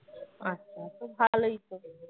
আচ্ছা তো ভালই তো